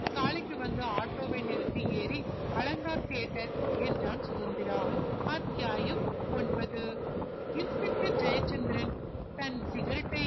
சாலைக்கு வந்து ஆட்டோவை நிருத்தி ஏறி அலங்கார் theater என்றான் சுதந்திரா அத்தியாயம் ஒன்பது inspector ஜெயசந்திரன் தன் cigarette டை